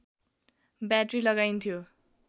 battery लगाइन्थ्यो